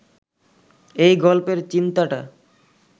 এই গল্পের চিন্তাটা